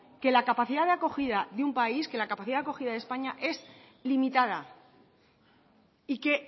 que la capacidad de acogida de un país que la capacidad de acogida de españa es limitada y que